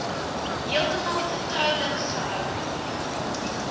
heeltemal vertroulik gehou